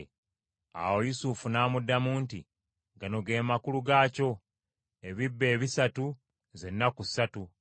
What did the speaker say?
Awo Yusufu n’amuddamu nti, “Gano ge makulu gaakyo: ebibbo ebisatu z’ennaku ssatu;